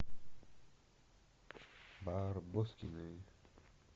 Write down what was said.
барбоскины